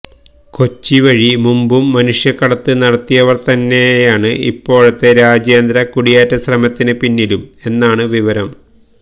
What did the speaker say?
കൊച്ചി വഴി മുമ്പും മനുഷ്യക്കടത്ത് നടത്തിയവര് തന്നെയാണ് ഇപ്പോഴത്തെ രാജ്യാന്തര കുടിയേറ്റ ശ്രമത്തിന് പിന്നിലും എന്നാണ് വിവരം